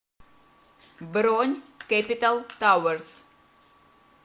бронь кэпитал тауэрс